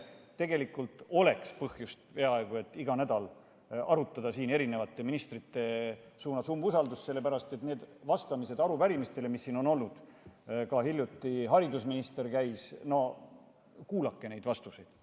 Tegelikult oleks põhjust peaaegu iga nädal arutada mõne ministri umbusaldamist, sellepärast et nende vastamine arupärimistele, mis siin on olnud, hiljuti käis siin ka haridusminister – no kuulake neid vastuseid!